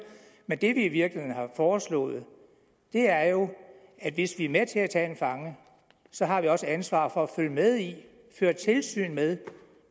men det vi i virkeligheden har foreslået er jo at hvis vi er med til at tage en fange så har vi også ansvaret for at følge med i føre tilsyn med